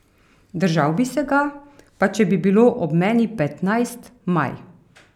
Držal bi se ga, pa če bi bilo ob meni petnajst Maj.